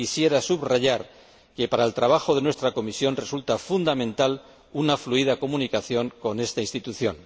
Quisiera subrayar que para el trabajo de nuestra comisión resulta fundamental una fluida comunicación con esta institución.